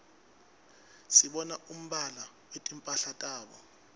sibona umbala wetimphala tabo